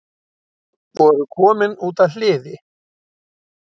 Voru komin út að hliði